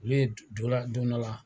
Olu ye don dɔ la.